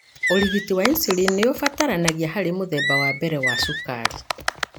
ũrigiti wa insulin nĩũbatarĩkanaga harĩ mũthemba wa mbere wa cukari.